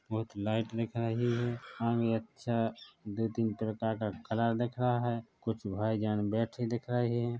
बहुत लाइट दिखाई दे रही है सामने अच्छा दो तीन तरह का कलर दिख रहा है कुछ भाईजान बैठे दिख रहे हैं ।